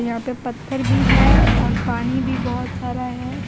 यहाँ पे पत्थर भी है और पानी भी बहुत सारा है।